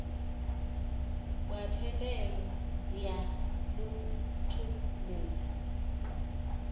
wa thendelo ya muthu muwe